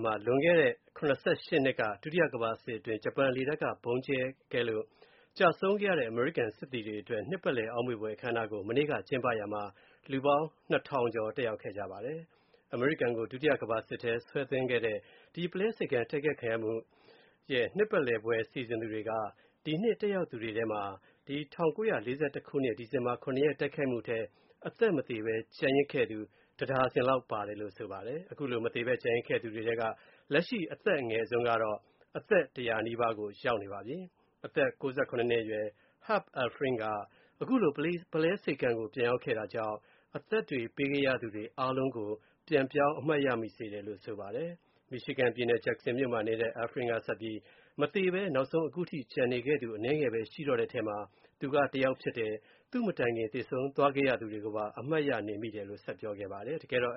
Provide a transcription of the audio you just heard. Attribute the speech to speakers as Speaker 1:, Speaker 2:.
Speaker 1: မှာ လွန်ခဲ့တဲ့ ၇၈ နှစ်က ဒုတိယကမ္ဘာစစ်အတွင်း ဂျပန်လေတပ်က ဗုံးကြဲလို့ ကျဆုံးခဲ့ရတဲ့ အမေရိကန် စစ်သည်တွေအတွက် နှစ်ပတ်လည် အောက်မေ့ဘွယ် အခမ်းအနားကို စနေနေ့က ကျင်းပတာမှာ လူပေါင်း ၂,၀၀၀ ကျော် တက်ရောက်ခဲ့ကြပါတယ်။ အမေရိကန်ကို ဒုတိယကမ္ဘာစစ်ထဲ ဆွဲသွင်းခဲ့တဲ့ ပုလဲဆိပ်ကမ်း တိုက်ခိုက်ခံရမှု နှစ်ပတ်လည်ပွဲစီစဉ်သူတွေက ဒီနှစ်တက်ရောက်သူတွေထဲ ၁၉၄၁ ခုနှစ် ဒီဇင်ဘာ ၇ ရက် တိုက်ခိုက်မှုမှာ အသက်မသေဘဲ ကျန်ရစ်ခဲ့သူ တဒါဇင်လောက်ပါတယ်လို့ ဆိုပါတယ်။ အခုလို အသက်မသေ ကျန်ရစ်ခဲ့သူတွေထဲမှာ လက်ရှိ အသက်အငယ်ဆုံးက အသက် ၁၀၀ နီးပါး ရောက်နေပါပြီ။ အသက် ၉၇ နှစ်အရွယ် Herb Elfring က ခုလို ပုလဲဆိပ်ကမ်းကို ပြန်ရောက်တာကြောင့် အသက်တွေ ပေးခဲ့ရသူတွေ အားလုံးကို ပြန်ပြောင်း အမှတ်ရမိစေတယ်လို့ ဆိုပါတယ်။ မီရှီဂန်ပြည်နယ် ဂျက်ဆင်မြို့မှာနေထိုင်တဲ့ Elfring က ဆက်ပြီး အသက်မသေဘဲ အခုချိန်ထိ ကျန်နေသူ အနည်းငယ်ပဲ ရှိတော့တဲ့အထဲ သူက တယောက်ဖြစ်တယ်၊ သူ့အရင် သေဆုံးသွားခဲ့ရသူတွေကိုပါ အမှတ်ရမိနေတယ်လို့ ဆက်ပြောခဲ့ပါတယ်။ တကယ်တော့